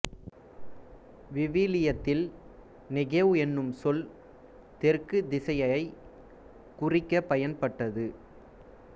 விவிலியத்தில் நெகேவ் எனும் சொல் தெற்குத் திசையைக் குறிக்கப் பயன்பட்டது